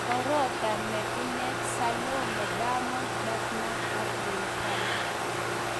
Orotha ne ineet: Salome- Diamond Platnums ak Rayvanny